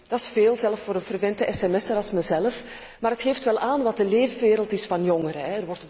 Dat is veel, zelfs voor een frequente sms er zoals ikzelf, maar het geeft wel aan wat de leefwereld is van jongeren.